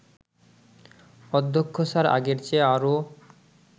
অধ্যক্ষ স্যার আগের চেয়ে আরও